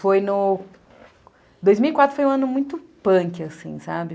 Foi no... dois mil e quatro foi um ano muito punk, assim, sabe?